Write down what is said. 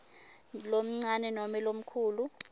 lomncane nobe lomkhulu